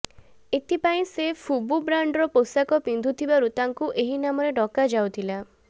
ଏଥିପାଇଁ ସେ ଫୁବୁ ବ୍ରାଣ୍ଡର ପୋଷାକ ପିନ୍ଧୁଥିବାରୁ ତାଙ୍କୁ ଏହି ନାମରେ ଡକାଯାଉଥିଲା